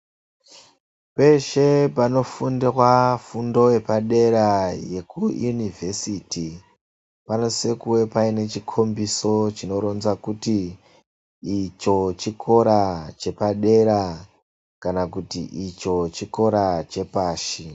Peshe panofundwe fundo yepadera yekuYunivhesiti panosise kuwe pane chikhombidzo chinoronza kuti icho chikora chepadera kana kuti icho chikora chepashi.